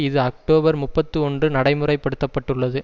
இது அக்டோபர் முப்பத்தி ஒன்று நடைமுறைப்படுத்தப்பட்டுள்ளது